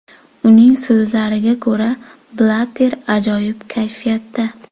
Uning so‘zlariga ko‘ra, Blatter ajoyib kayfiyatda.